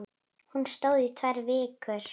Hún stóð í tvær vikur.